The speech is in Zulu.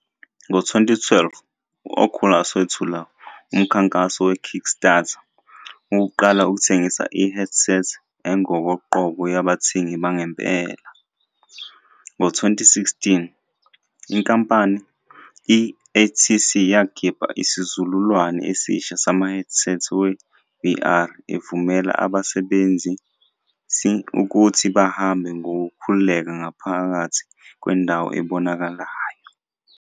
Ngo-2012, u-Oculus wethula umkhankaso we-Kickstarter ukuqala ukuthengisa i-headset engokoqobo yabathengi bangempela. Ngo-2016, inkampani, i-HTC yakhipha isizukulwane esisha samahedisethi we-VR evumela abasebenzisi ukuthi bahambe ngokukhululeka ngaphakathi kwendawo ebonakalayo.